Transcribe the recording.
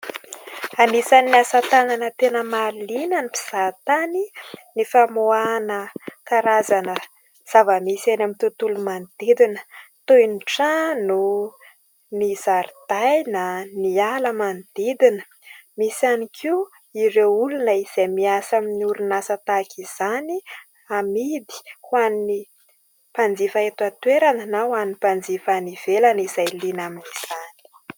Anisan'ny asa tanana tena mahaliana ny mpizahatany ny famoahana karazana zava-misy eny amin'ny tontolo manodidina, toy ny : trano, ny zaridaina, ny ala manodidina... Misy ihany koa ireo olona izay miasa amin'ny orinasa tahaka izany, amidy ho an'ny mpanjifa eto an-toerana na ho an'ny mpanjifa any ivelany izay liana amin'izany.